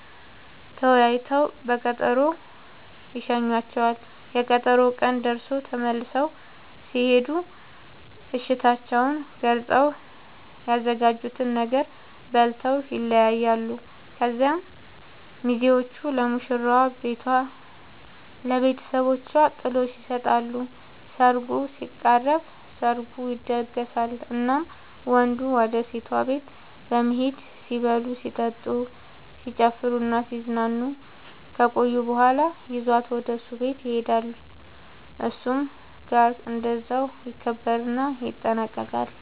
ተወያይተው በቀጠሮ ይሸኙዋቸዋል፤ የቀጠሮው ቀን ደርሶ ተመልሰው ሲሄዱ እሽታቸውን ገልፀው፤ ያዘጋጁትን ነገር በልተው ይለያያሉ። ከዚያ ሚዜዎቹ ለሙሽራዋ ቤቷ ለብተሰቦቿ ጥሎሽ ይሰጣሉ ሰርጉ ሲቃረብ፤ ሰርጉ ይደገሳል እናም ወንዱ ወደ ሴቷ ቤት በመሄድ ሲበሉ ሲጠጡ፣ ሲጨፍሩናሲዝናኑ ከቆዩ በኋላ ይዟት ወደ እሱ ቤት ይሄዳሉ እሱም ጋር እንደዛው ይከበርና ይጠናቀቃል